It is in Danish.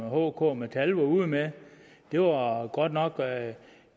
hk og metal var ude med det var godt nok at